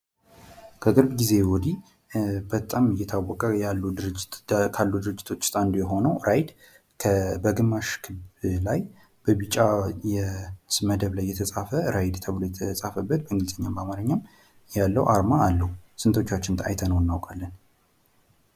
ከቅርብ ጊዜ ወዲህ በጣም እየታወቁ ካሉ ድርጅቶች ውስጥ አንዱ የሆነው ራይድ በግማሽ ላይ በቢጫ መደብ ላይ የተፃፈ ራይድ ተብሎ የተፃፈበት በእንግሊዘኛም በአማርኛም ያለው አርማ አለው ።ስንቶቻችን አይተነው እናውቃለን ?